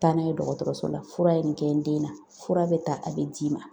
Taa n'a ye dɔgɔtɔrɔso la fura ye nin kɛ n den na, fura bɛ ta a bɛ d'i ma.